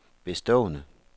bestående